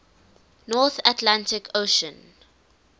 north atlantic ocean